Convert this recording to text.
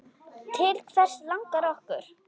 Til hvers langar okkur?